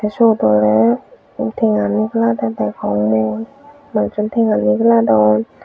tey syotey tenga nigiladey degong mui manujjun tenga nigiladon.